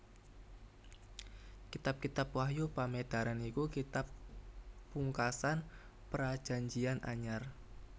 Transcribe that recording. Kitab Wahyu Pamedaran iku kitab pungkasan Prajanjian Anyar